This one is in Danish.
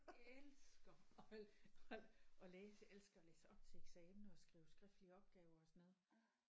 Elsker at at at læse elsker at læse op til eksamener og skrive skriftlige opgaver og sådan noget